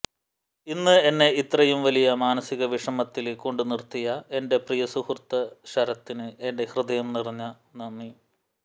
ഇന്ന് എന്നെ ഇത്രയും വലിയ മാനസിക വിഷമത്തില് കൊണ്ടുനിര്ത്തിയ എന്റെ പ്രിയസുഹൃത്ത് ശരത്തിന് എന്റെ ഹൃദയം നിറഞ്ഞ നന്ദി